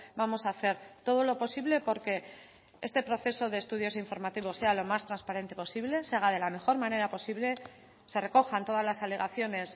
vamos a hacer todo lo posible porque este proceso de estudios informativos sea lo más transparente posible se haga de la mejor manera posible se recojan todas las alegaciones